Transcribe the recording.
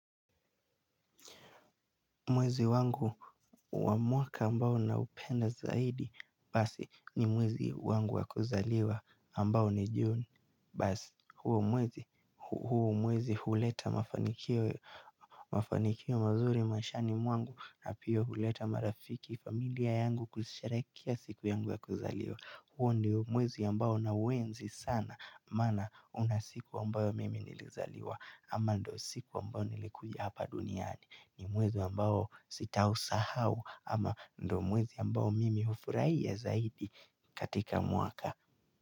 Mwezi wangu wa mwaka ambao naupenda zaidi basi ni mwezi wangu wa kuzaliwa na ambao ni Juni, basi huu mwezi huleta mafanikio mafanikio mazuri maishani mwangu na pia huleta marafiki, familia yangu kusherehekea siku yangu ya kuzaliwa. Huo ndio mwezi ambao na uenzi sana, maana una siku ambayo mimi nilizaliwa ama ndio siku ambayo nilikuja hapa duniani. Ni mwezi ambao sitausahau ama ndio mwezi ambao mimi hufurahia zaidi katika mwaka.